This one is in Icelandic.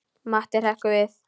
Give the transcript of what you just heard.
Matti hrekkur við.